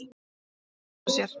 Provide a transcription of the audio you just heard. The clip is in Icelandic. """Já, hugsa sér!"""